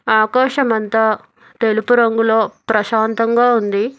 ఆకాశమంత తెలుపు రంగులో ప్రశాంతంగా ఉంది.